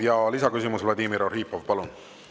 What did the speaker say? Ja lisaküsimus, Vladimir Arhipov, palun!